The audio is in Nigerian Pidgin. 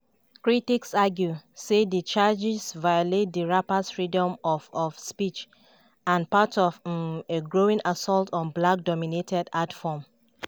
critics argue say di charges violate di rappers' freedom of of speech and na part of um a growing assault on a black-dominated art form.